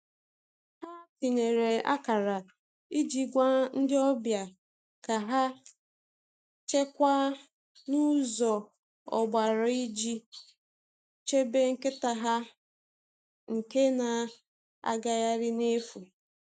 Ha tinyere akara iji gwa ndị ọbịa ka ha chekwaa ụzọ ọgbara iji chebe nkịta ha nke na-agagharị n’efu.